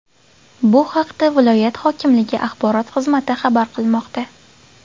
Bu haqda viloyat hokimligi axborot xizmati xabar qilmoqda.